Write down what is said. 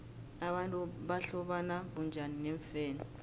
abantu bahlobana bunjani neemfene